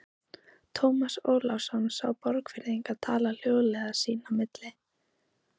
Ólafur Tómasson sá Borgfirðinga tala hljóðlega sín á milli.